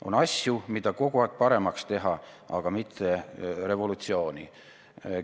On asju, mida saab kogu aeg paremaks teha, aga mitte revolutsiooni korraldades.